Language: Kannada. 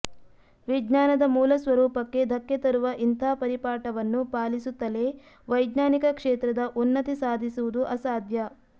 ವಿಜ್ಞಾನದ ಮೂಲಸ್ವರೂಪಕ್ಕೆ ಧಕ್ಕೆ ತರುವ ಇಂಥ ಪರಿಪಾಠವನ್ನು ಪಾಲಿಸುತ್ತಲೇ ವೈಜ್ಞಾನಿಕ ಕ್ಷೇತ್ರದ ಉನ್ನತಿ ಸಾಧಿಸುವುದು ಅಸಾಧ್ಯ